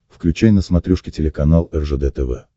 включай на смотрешке телеканал ржд тв